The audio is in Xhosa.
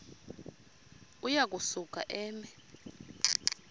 uya kusuka eme